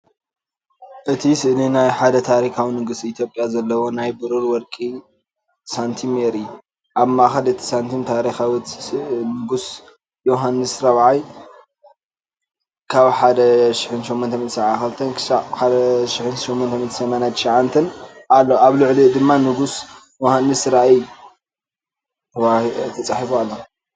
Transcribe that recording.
እቲ ስእሊ ናይ ሓደ ታሪኻዊ ንጉስ ኢትዮጵያ ዘለዎ ናይ ብሩር ወይ ወርቂ ሳንቲም የርኢ። ኣብ ማእከል እቲ ሳንቲም ታሪኻዊ ስእሊ ንጉስ ዮውሃንስ ራብዓይ (1872–1889) ኣሎ። ኣብ ልዕሊኡ ድማ "ንጉስ ዮውሃንስ ራብዓይ" ተጻሒፉ ኣሎ።